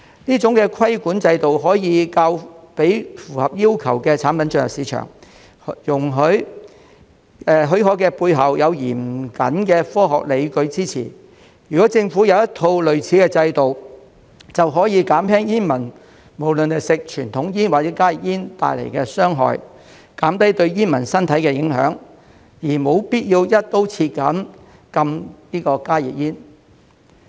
這種規管制度可以讓符合要求的產品進入市場，許可的背後有嚴謹的科學論據支持，如果政府有一套類似的制度，便可以減輕煙民無論在吸食傳統煙或加熱煙時受到的傷害，減低對煙民身體的影響，而無必要"一刀切"禁加熱煙。